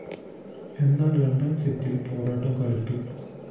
എന്നാല്‍ രണ്ടാം സെറ്റില്‍ പോരാട്ടം കടുത്തു